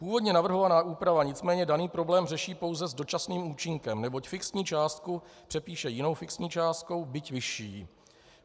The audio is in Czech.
Původně navrhovaná úprava nicméně daný problém řeší pouze s dočasným účinkem, neboť fixní částku přepíše jinou fixní částkou, byť vyšší.